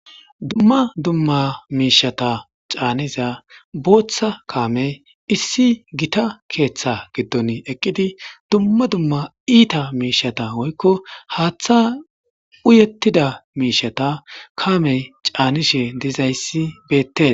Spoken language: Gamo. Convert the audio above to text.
Dumma duma miishata caaniza booththa kaame issi giita keeththa gidon eqidi dumma dumma iita miishata woyko haaththa uyetida mishshata kaame caanishe dizayti beetees